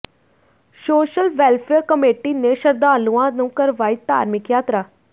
social welfare committee ਨੇ ਸ਼ਰਧਾਲੂਆਂ ਨੂੰ ਕਰਵਾਈ ਧਾਰਮਿਕ ਯਾਤਰਾ